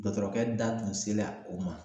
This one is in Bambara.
Dɔtɔrɔkɛ da tun sela o ma.